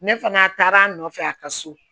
Ne fana taara a nɔfɛ a ka so